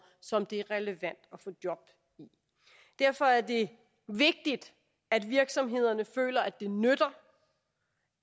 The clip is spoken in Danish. som det er relevant at få job i derfor er det vigtigt at virksomhederne føler at det nytter